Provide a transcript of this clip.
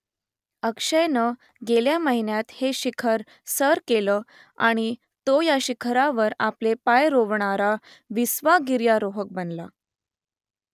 अक्षयनं गेल्या महिन्यात हे शिखर सर केलं आणि तो या शिखरावर आपले पाय रोवणारा विसावा गिर्यारोहक बनला